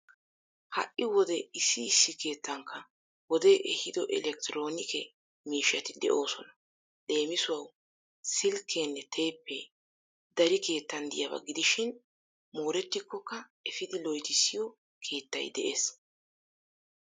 Ha"i wode issi issi keettankka wode ehido elektroonike miishshati de'oosona. Leemisuwawu silkkeenne teeppe dari keettan diyaba gidishin moorettikkokka efidi loytissiyo keettay de'ees.